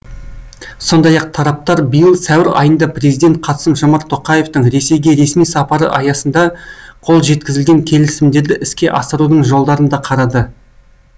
сондай ақ тараптар биыл сәуір айында президент қасым жомарт тоқаевтың ресейге ресми сапары аясында қол жеткізілген келісімдерді іске асырудың жолдарын да қарады